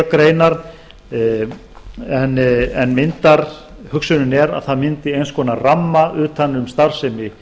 greinar en hugsunin er að það myndi eins konar ramma utan um starfsemi